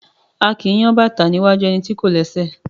A kì í yang bàtá ní iwájú ẹni tí kò lẹ́sẹ̀.